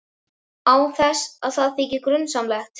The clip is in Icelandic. Án þess að það þyki grunsamlegt.